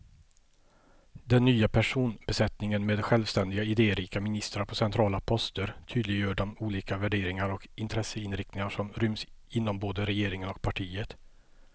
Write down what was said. Den nya personbesättningen med självständiga, idérika ministrar på centrala poster tydliggör de olika värderingar och intresseinriktningar som ryms inom både regeringen och partiet.